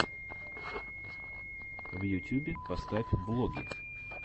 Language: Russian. в ютюбе поставь влоги